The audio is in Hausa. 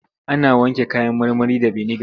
Ana wanke kayan marmari da biniga.